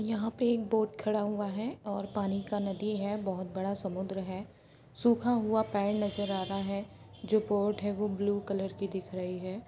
यहाँ पे एक बोट खड़ा हुआ है और पानी का नदी है बहुत बड़ा समुद्र है सूखा हुआ पेड़ नजर आ रहा है जो बोट है वो ब्लू कलर की दिख रही है।